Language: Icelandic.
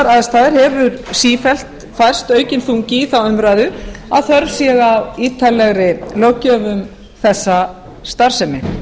aðstæður hefur sífellt færst aukinn þungi í þá umræðu að þörf sé á ítarlegri löggjöf um þessa starfsemi